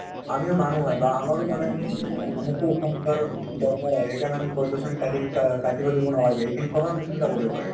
আমি ওমানুহ হয় বা আমাৰো মানে আমাকো উশাহ নিশাহ ৰ দৰকাৰ হয়, সেইকাৰণে আমি গছ গছনি কা আ কাটিব দিব নালাগে, সেইখিনি কথাও আমি চিন্তা কৰিব লাগে